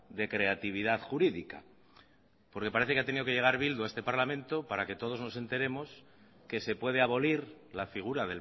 de creatividad jurídica porque parece que ha tenido que llegar bildu a este parlamento para que todos nos enteremos que se puede abolir la figura